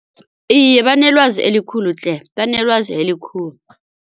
Iye banelwazi elikhulu tle banelwazi elikhulu.